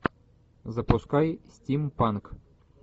запускай стимпанк